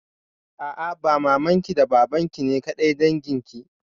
A'a, ba maman ki da baban ki ne kaɗai dangin ki.